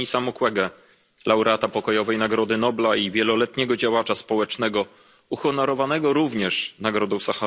Denisa Mukwege, laureata Pokojowej Nagrody Nobla i wieloletniego działacza społecznego, uhonorowanego również Nagrodą im.